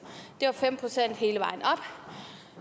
det var fem procent hele vejen